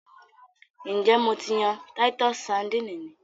N jẹ Mo ti yan titus sardines ni?